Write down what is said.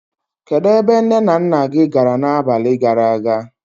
Kedụ ebe nné na nnà gị gàrà n'abalị gàrà aga?